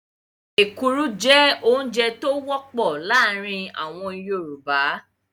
Ekuru jẹ́ oúnjẹ tí ó wọ́pọ̀ láàrin àwọn Yorùbá.